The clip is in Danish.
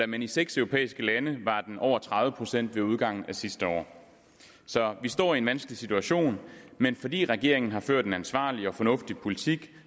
men i seks europæiske lande var den over tredive procent ved udgangen af sidste år vi står i en vanskelig situation men fordi regeringen har ført en ansvarlig og fornuftig politik